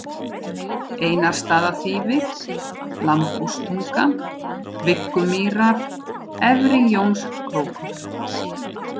Einarsstaðaþýfi, Lambhústunga, Viggumýrar, Efri-Jónskrókur